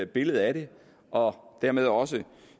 billede af det og dermed også